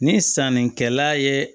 Ni sannikɛla ye